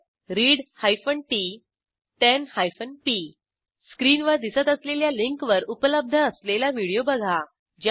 मदतः read t 10 p स्क्रीनवर दिसत असलेल्या लिंकवर उपलब्ध असलेला व्हिडिओ बघा